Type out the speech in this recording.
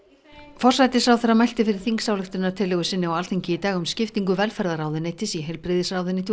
forsætisráðherra mælti fyrir þingsályktunartillögu sinni á Alþingi í dag um skiptingu velferðarráðuneytis í heilbrigðisráðuneyti og